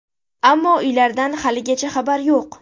Ammo uylardan haligacha xabar yo‘q.